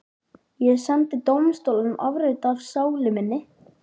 Ég sendi dómstólunum afrit af sál minni.